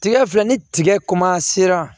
Tigɛ filɛ ni tigɛ sera